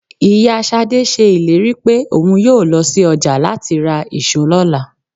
Ìyá Ṣadé ṣe ìlérí pé òun yóò lọ sí ọjà láti ra ìṣó lọ́la.